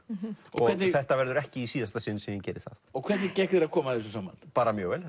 og þetta verður ekki í síðasta sinn sem ég geri það hvernig gekk þér að koma þessu saman bara mjög vel